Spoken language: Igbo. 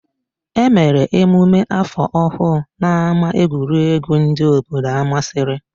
E mere emume áfọ̀ ọhụụ n'ámáegwuregwu ndị obodo Amasịrị.